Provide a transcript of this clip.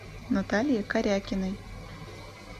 наталье корякиной